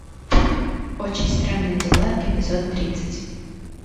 очень странные дела эпизод тридцать